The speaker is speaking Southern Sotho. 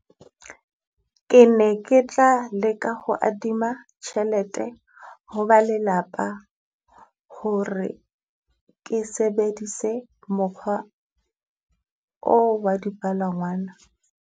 Ke ne ke tla leka ho adima tjhelete ho ba lelapa, hore ke sebedise mokgwa oo wa di palangwana.